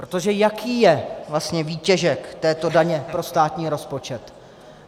Protože jaký je vlastně výtěžek této daně pro státní rozpočet?